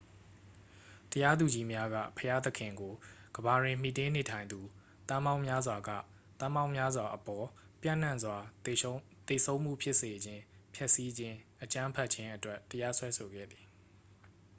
"တရားသူကြီးများက ဘုရားသခင်ကို "ကမ္ဘာတွင် မှီတင်းနေထိုင်သူ သန်းပေါင်းများစွာက သန်းပေါင်းများစွာအပေါ် ပျံ့နှံ့စွာ သေဆုံးမှု ဖြစ်စေခြင်း၊ ဖျက်ဆီးခြင်း၊ အကြမ်းဖက်ခြင်း" အတွက် တရားစွဲဆိုခဲ့သည်။